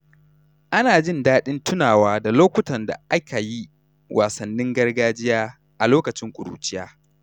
Ana jin daɗin tunawa da lokutan da aka yi wasannin gargajiya a lokacin ƙuruciya.